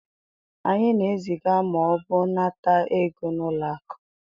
anyị na-eziga ma ọ bụ nata ego na ụlọ akụ